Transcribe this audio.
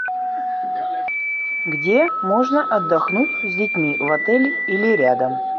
где можно отдохнуть с детьми в отеле или рядом